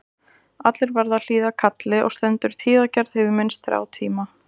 Allir verða að hlýða kalli og stendur tíðagerð yfir minnst þrjá tíma.